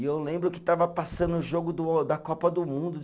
E eu lembro que estava passando o jogo do da Copa do Mundo de.